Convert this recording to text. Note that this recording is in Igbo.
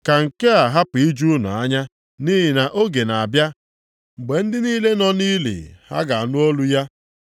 “Ka nke a hapụ iju unu anya, nʼihi na oge na-abịa, mgbe ndị niile nọ nʼili ha ga-anụ olu ya